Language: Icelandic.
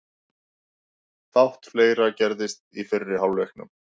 Fátt fleira gerðist í fyrri hálfleiknum.